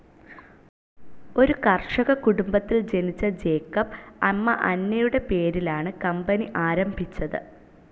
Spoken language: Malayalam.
ഒരു കർഷക കുടുംബത്തിൽ ജനിച്ച ജേക്കബ് അമ്മ അന്നയുടെ പേരിലാണ് കമ്പനി ആരംഭിച്ചത്.